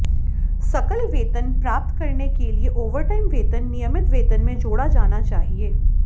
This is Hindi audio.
सकल वेतन प्राप्त करने के लिए ओवरटाइम वेतन नियमित वेतन में जोड़ा जाना चाहिए